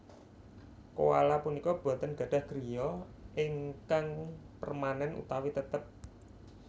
Koala punika boten gadhah griya ingkang permanen utawi tetep